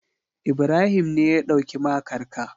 Ibrahim ne ya ɗauki makar ka.